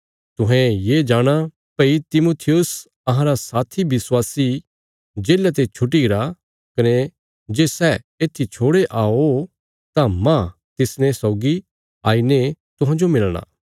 तुहें ये जाणा भई तिमुथियुस अहांरा साथी विश्वासी जेल्ला ते छुट्टी गरा कने जे सै येत्थी छोड़े आओ तां मांह तिसने सौगी आईने तुहांजो मिलणा